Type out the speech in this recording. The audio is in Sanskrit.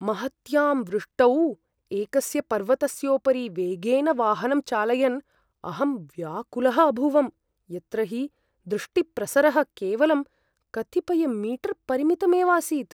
महत्यां वृष्टौ एकस्य पर्वतस्योपरि वेगेन वाहनं चालयन् अहं व्याकुलः अभूवम्, यत्र हि दृष्टिप्रसरः केवलं कतिपयमीटर्परिमितमेवासीत्।